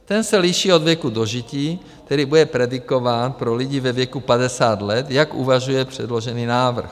Ten se liší od věku dožití, tedy bude predikován pro lidi ve věku 50 let, jak uvažuje předložený návrh.